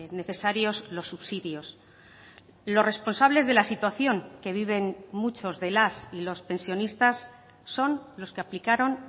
necesarios los subsidios los responsables de la situación que viven muchos de las y los pensionistas son los que aplicaron